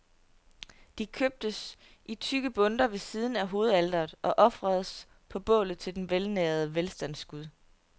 De købes i tykke bundter ved siden af hovedaltret, og ofres på bålet til den velnærede velstandsgud.